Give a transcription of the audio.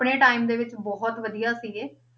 ਆਪਣੇ time ਦੇ ਵਿੱਚ ਬਹੁਤ ਵਧੀਆ ਸੀਗੇ,